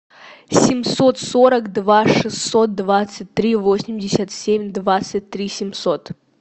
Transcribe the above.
семьсот сорок два шестьсот двадцать три восемьдесят семь двадцать три семьсот